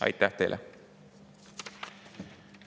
Aitäh teile!